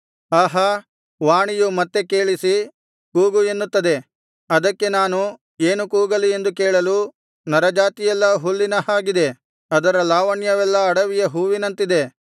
ಆಹಾ ವಾಣಿಯು ಮತ್ತೆ ಕೇಳಿಸಿ ಕೂಗು ಎನ್ನುತ್ತದೆ ಅದಕ್ಕೆ ನಾನು ಏನು ಕೂಗಲಿ ಎಂದು ಕೇಳಲು ನರಜಾತಿಯೆಲ್ಲಾ ಹುಲ್ಲಿನ ಹಾಗಿದೆ ಅದರ ಲಾವಣ್ಯವೆಲ್ಲಾ ಅಡವಿಯ ಹೂವಿನಂತಿದೆ